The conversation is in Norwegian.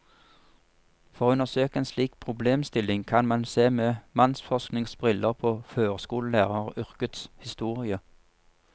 For å undersøke en slik problemstilling kan man se med mannsforsknings briller på førskolelæreryrkets historie.